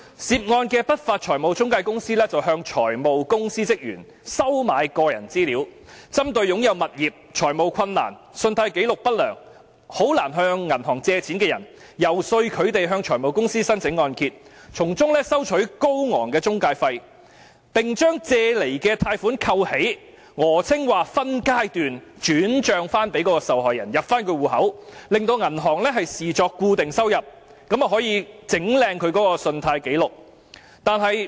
涉案的不法財務中介公司向財務公司職員收買個人資料，針對擁有物業、財務困難、信貸紀錄不良和難以向銀行借貸的人，遊說他們向財務公司申請按揭，從中收取高昂的中介費，並將借來的貸款扣起，訛稱會分階段轉帳到受害人的戶口，令銀行把該筆金錢視作固定收入，這樣便可以"整靚"其信貸紀錄。